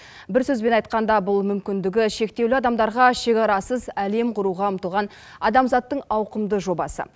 бір сөзбен айтқанда бұл мүмкіндігі шектеулі адамдарға шекарасыз әлем құруға ұмтылған адамзаттың ауқымды жобасы